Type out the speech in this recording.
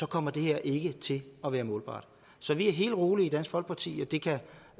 kommer det her ikke til at være målbart så vi er helt rolige i dansk folkeparti